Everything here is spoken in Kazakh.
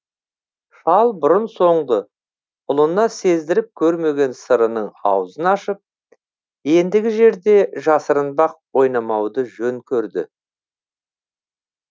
шал бұрын соңды ұлына сездіріп көрмеген сырының аузын ашып ендігі жерде жасырынбақ ойнамауды жөн көрді